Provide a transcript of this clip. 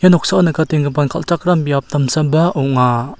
noksao nikatenggipan kal·chakram biap damsaba ong·a.